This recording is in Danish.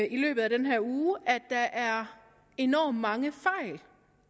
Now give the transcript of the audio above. i løbet af den her uge at der er enormt mange fejl